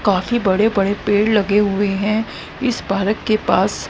काफी बड़े बड़े पेड़ लगे हुए हैं इस पारक के पास।